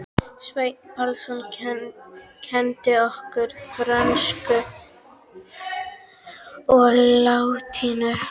Sveinn Pálsson kenndi okkur frönsku og latínu.